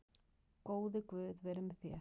Góði Guð veri með þér.